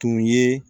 Tun ye